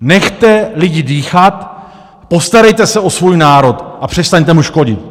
Nechte lidi dýchat, postarejte se o svůj národ a přestaňte mu škodit!